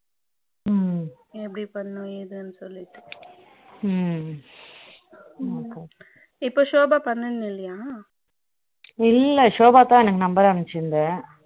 ம் எப்படி பண்ணனும் இதுன்னு சொல்லிட்டு ம் இப்போ Shoba பண்ணலயா இல்ல Shoba தான் எனக்கு number அனுப்பிச்சியிருந்தா